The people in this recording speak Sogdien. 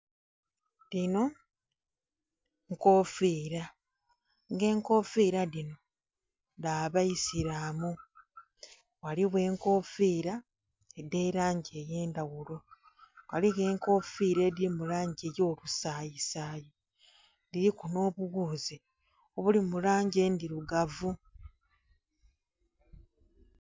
Dhino nkofiira, nga enkofiira dhino dha baisilaamu, ghaligho enkofiira edh'elangi ey'endhaghulo, ghaliwo enkofiira edhili mu langi ey'olusayisayi, dhiliku n'obughuuzi obuli mu langi endhirugavu.